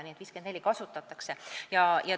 Nii et 54% kasutatakse ära.